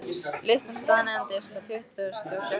Lyftan staðnæmdist á tuttugustu og sjöttu hæð.